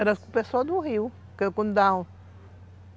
Era o pessoal do rio